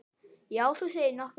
Já, þú segir nokkuð.